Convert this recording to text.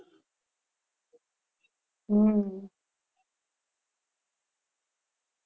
હમ